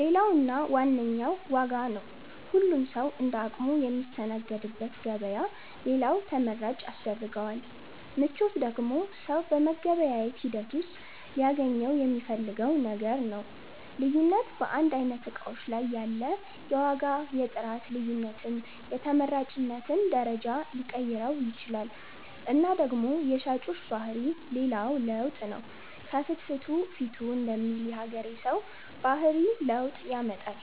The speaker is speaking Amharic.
ሌላው እና ዋነኛው ዋጋ ነው ሁሉም ሠዉ እንደ አቅሙ ሚስተናገድበት ገበያ ሌላው ተመራጭ ያስደርገዋል። ምቾት ደግሞ ሠው በመገበያየት ሂደት ውሥጥ ሊያገኘው ሚፈልገው ነገር ነው። ልዩነት በአንድ አይነት እቃዎች ላይ ያለ የዋጋ የጥራት ልዮነትም የተመራጭነትን ደረጃ ሊቀይረው ይችላል እና ደግሞ የሻጮች ባህሪ ሌላው ለውጥ ነው ከፍትፊቱ ፊቱ ደሚል የሀገሬ ሠው ባህሪ ለውጥ ያመጣል።